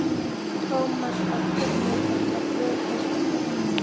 Thomas varð fyrri til að brjótast á fætur.